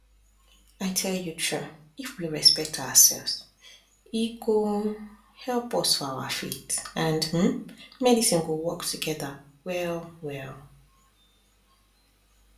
i tell you true if we respect ourselves e go help us for our faith and hmm medicine go work together well well